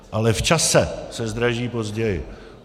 Ale v čase se zdraží později.